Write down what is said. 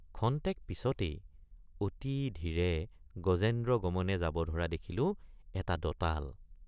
ক্ষন্তেক পিচতেই অতি ধীৰে গজেন্দ্ৰগমনে যাব ধৰা দেখিলোঁ এটা দঁতাল।